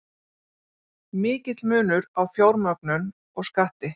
Mikill munur á fjármögnun og skatti